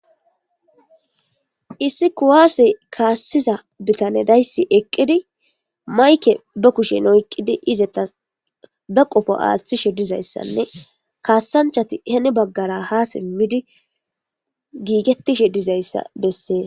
Issi kuwaasi kaassiza bitane dayssi eqqidi mayke ba kushen oyqqidi izeta ba qofo aaththishe dizayssanne kaassanchati heni baggara ha simmidi giigetishe dizayssa bessees.